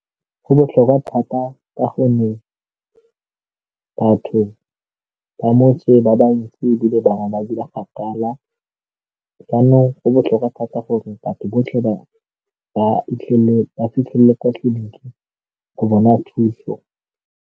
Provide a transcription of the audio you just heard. Go botlhokwa thata ka gonne batho ba motse ba bantsi ebile ba na ba kgakala jaanong go botlhokwa thata gore batho botlhe ba ba fitlhele ba fitlhelele kwa tleliniking go bona thuso.